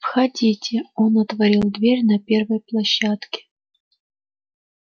входите он отворил дверь на первой площадке